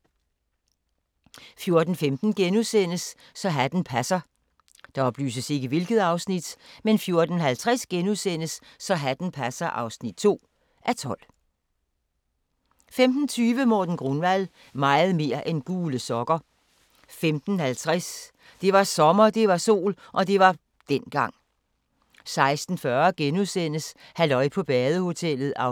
14:15: Så hatten passer * 14:50: Så hatten passer (2:12)* 15:20: Morten Grunwald – meget mere end gule sokker 15:50: Det var sommer, det var sol – og det var dengang 16:40: Halløj på badehotellet (11:12)*